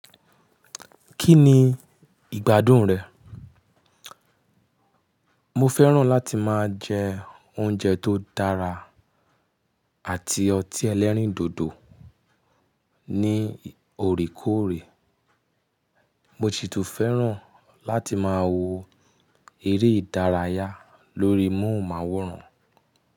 Kí ni ìgbádùn rẹ̀? Mo fẹ́ràn láti máa jẹ oúnjẹ tó dára àti ọtí ẹlẹ́rìndòdò ní oòrekoòrè. Mo sì tún fẹ́ràn láti máa wo eré ìdárayá lórí múhunmáwòrán.